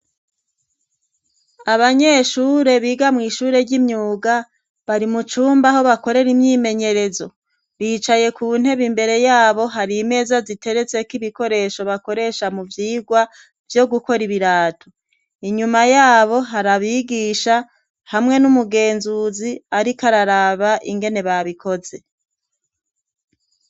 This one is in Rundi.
Abanyeshure biga mw'ishure ry'imyuga bari mucumba aho bakorera imyimenyerezo ricaye ku ntebe imbere yabo hari meza ziterezeko ibikoresho bakoresha mu vyirwa vyo gukora ibiratu inyuma yabo harabigisha hamwe n'umugenzuzi, ariko kararaba ingene babikoze.